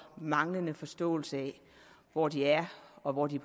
manglende forståelse af hvor de er og hvor de